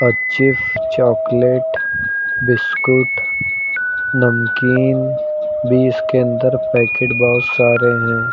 और chips chocolate biscuit नमकीन भी इसके अंदर पैकेट बोहोत सारे हैं।